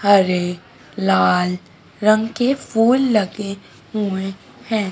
हरे लाल रंग के फूल लगे हुए हैं।